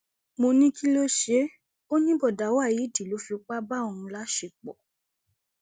mo ní kí ló ṣe é ó ní bọdà waheed ló fipá bá òun láṣepọ